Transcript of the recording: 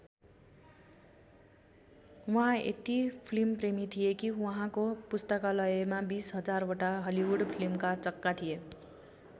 उहाँ यति फिल्मप्रेमी थिए की उहाँको पुस्तकालयमा २० हजार वटा हलिउड फिल्मका चक्का थिए।